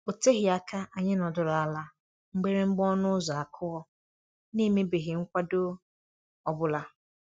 O teghị aka anyị nọdụrụ ala mgbịrị mgba ọnụ ụzọ akụọ, n'emebeghị nkwado ọ bụla.